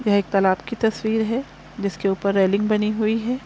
यह एक तलब की तस्वीर है जिसके ऊपर रेलिंग बनी हुई है।